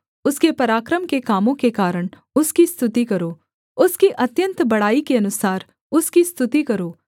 उसके पराक्रम के कामों के कारण उसकी स्तुति करो उसकी अत्यन्त बड़ाई के अनुसार उसकी स्तुति करो